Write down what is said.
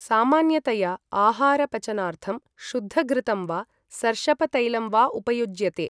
सामान्यतया आहार पचनार्थं शुद्ध घृतं वा सर्षपतैलं वा उपयुज्यते।